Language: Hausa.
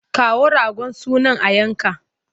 Kawo ragon sunan a yanka!